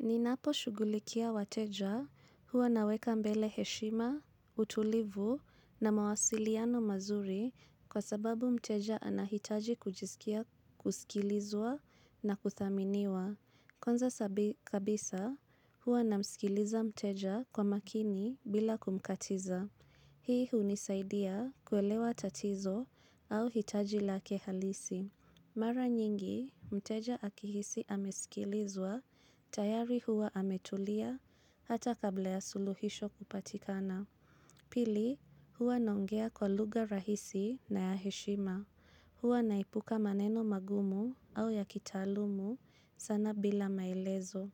Ninapo shugulikia wateja huwa naweka mbele heshima, utulivu na mawasiliano mazuri kwa sababu mteja anahitaji kujisikia kusikilizwa na kuthaminiwa. Kwanza kabisa huwa namsikiliza mteja kwa makini bila kumkatiza. Hii hunisaidia kuelewa tatizo au hitaji lake halisi. Mara nyingi, mteja akihisi amesikilizwa, tayari huwa ametulia, hata kabla ya suluhisho kupatikana. Pili, huwa nongea kwa lugha rahisi na ya heshima. Huwa naepuka maneno magumu au yakitalumu sana bila maelezo.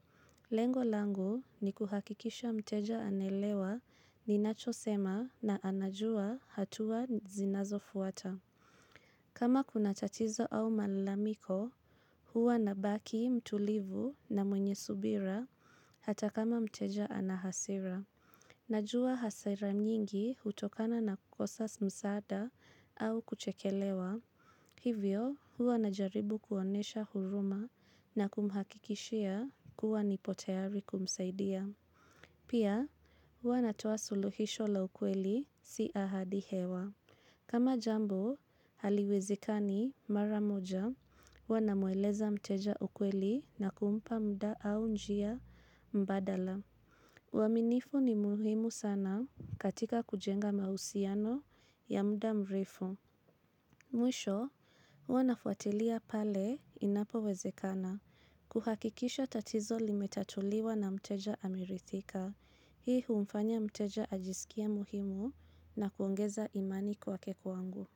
Lengo langu ni kuhakikisha mteja ana elewa ninacho sema na anajua hatua zinazo fuata. Kama kuna tatizo au malamiko, huwa nabaki, mtulivu na mwenye subira hata kama mteja ana hasira. Najua hasira nyingi hutokana na kukosa msaada au kuchekelewa. Hivyo, huwa na jaribu kuonyesha huruma na kumhakikishia kuwa nipo tayari kumsaidia. Pia, huwa natoaa suluhisho la ukweli si ahadi hewa. Kama jambo, haliwezikani mara moja, huwa namueleza mteja ukweli na kumpa mda au njia mbadala. Uaminifu ni muhimu sana katika kujenga mahusiano ya muda mrefu. Mwisho, huwa nafuatilia pale inapo wezekana. Kuhakikisha tatizo limetatuliwa na mteja amiridhika. Hii humfanya mteja ajisikie muhimu na kuongeza imani kwake kwangu.